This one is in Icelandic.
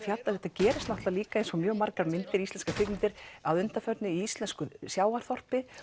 gerist líka eins og mjög margar íslenskar kvikmyndir að undanförnu í íslensku sjávarþorpi